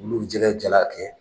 Olu jɛgɛ jala kɛ